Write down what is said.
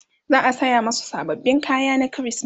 za'a saya masu sababbin kaya na krismeti